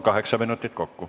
Kaheksa minutit kokku.